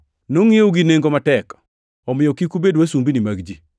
Nongʼiewu gi nengo matek, omiyo kik ubed wasumbini mag ji.